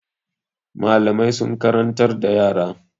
Malamai sun karantar da yara.